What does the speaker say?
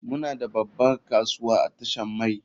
Muna da babban kasuwa a tashar mai.